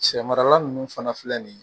Sɛ marala nunnu fana filɛ nin ye